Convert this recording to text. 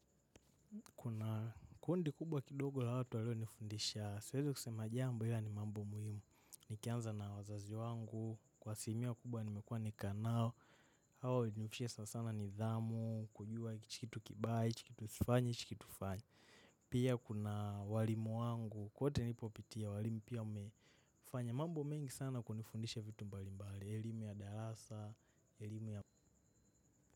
Kuna kundi kubwa kidogo la watu walionifundisha. Siwezi kusema jambo ila ni mambo muhimu. Nikianza na wazazi wangu, kwa asilimia kubwa nimekua nikikaa nao. Hawa hunifishia sana sana nidhamu, kujua hichi kitu kibaya, hichi kitu sifanyi, hichi kitu fanya. Pia kuna walimu wangu, kwote nilipopitia walimu pia wamefanya. Mambo mengi sana kunifundisha vitu mbali mbali, elimu ya darasa, elimu ya.